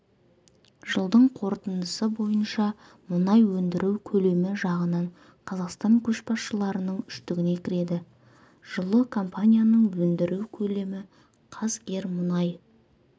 жылдың қорытындысы бойынша мұнай өндіру көлемі жағынан қазақстан көшбасшылардың үштігіне кіреді жылы компанияның өндіру көлемі қазгермұнай